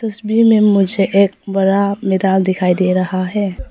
तस्वीर में मुझे एक बड़ा मैदान दिखाई दे रहा है।